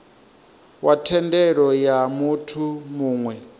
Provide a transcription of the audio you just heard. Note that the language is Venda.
wa thendelo ya muthu muwe